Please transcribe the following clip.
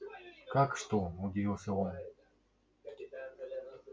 как что удивился он